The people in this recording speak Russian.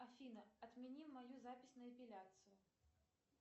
афина отмени мою запись на эпиляцию